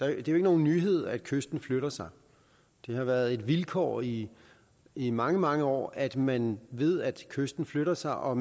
er jo ikke nogen nyhed at kysten flytter sig det har været et vilkår i i mange mange år at man ved at kysten flytter sig og